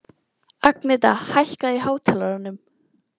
Agneta, hækkaðu í hátalaranum.